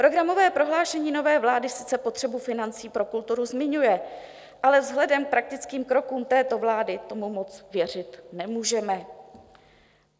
Programové prohlášení nové vlády sice potřebu financí pro kulturu zmiňuje, ale vzhledem k praktickým krokům této vlády tomu moc věřit nemůžeme.